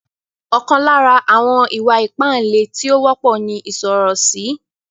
Ọkan lára àwọn ìwà-ipá ilé tí ó wọ́pọ̀ ní ìsọ̀rọ̀sí.